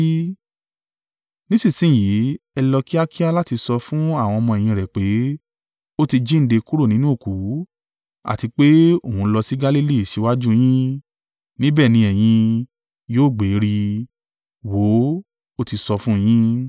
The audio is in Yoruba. Nísinsin yìí, ẹ lọ kíákíá láti sọ fún àwọn ọmọ-ẹ̀yìn rẹ̀ pé, ‘Ó ti jíǹde kúrò nínú òkú. Àti pé òun ń lọ sí Galili síwájú yín, níbẹ̀ ni ẹ̀yin yóò gbé rí i,’ wò ó, o ti sọ fún yin.”